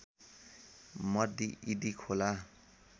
मर्दी इदी खोला